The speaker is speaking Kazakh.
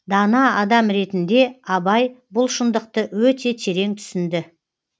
дана адам ретінде абай бұл шындықты өте терең түсінді